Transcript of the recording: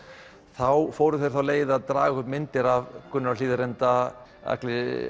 þá fóru þeir þá leið að draga upp myndir af Gunnari á Hlíðarenda Agli